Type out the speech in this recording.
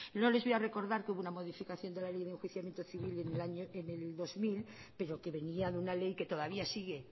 no les voy a recordar que hubo una modificación de la ley de enjuiciamiento civil en el año dos mil pero que venía de una ley que todavía sigue